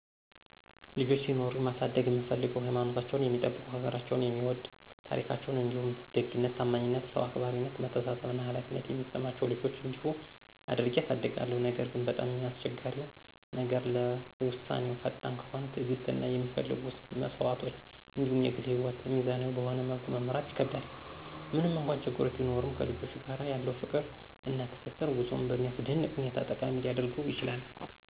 ልጆች ሲኖሩኝ ማሳደግ እምፍልገው ሀይማኖታቸውን የሚጠብቁ፣ ሀገራቸውን የሚወድ፣ ታራካቸዉን እንዲሁም ደግነት፣ ታማኝነት፣ ሰዉ አክባራነት፣ መተሳሰብ እና ኃላፊነትን የሚሰማቸው ልጆች እንዲሆኑ አድርጌ አሳድጋለሁ። ነገር ግን፣ በጣም አስቸጋሪው ነገር ለዉሳነወች ፈጣን ከሆነ፣ ትዕግስት እና የሚፈለጉ መስዋዕቶች እንዲሁም የግል ህይወትን ሚዛናዊ በሆነ መልኩ መምራት ይከከብዳል። ምንም እንኳን ችግሮች ቢኖሩም ከልጆች ጋር ያለው ፍቅር እና ትስስር ጉዞውን በሚያስደንቅ ሁኔታ ጠቃሚ ሊያደርገውም ይችላል።